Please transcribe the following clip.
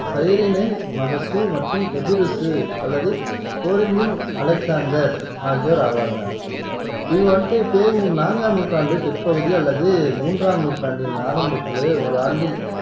சைரீனின் மகசு மற்றும், எபிருசு அல்லது கோரிந்தின் அலெக்சாந்தர் ஆகியோர் ஆவாங்க இவர் வந்துட்டு பெ மு நான்காம் நூற்றாண்டு பிற்பகுதி அல்லது மூன்றாம் நூற்றாண்டின் ஆரம்பத்தில ஒரு ஆண்டில்